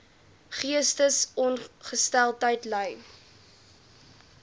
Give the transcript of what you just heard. geestesongesteldheid ly